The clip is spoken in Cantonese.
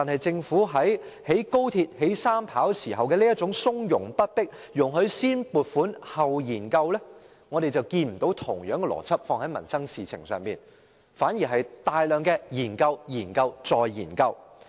政府在興建高鐵、機場第三條跑道時從容不迫，容許先撥款後研究，但卻沒有將同樣的邏輯放在民生事情上，反而進行大量研究、研究、再研究。